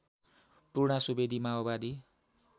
पूर्णा सुवेदी माओवादी